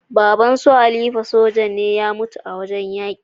Baban sun khalifa soja ne ya mutu a wajan yaki